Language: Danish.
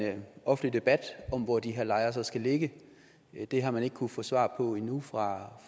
offentlig debat om hvor de her lejre så skal ligge det har man ikke kunnet få svar på endnu fra